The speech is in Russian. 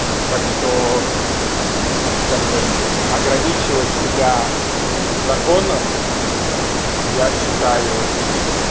так что как бы ограничивать себя законом я считаю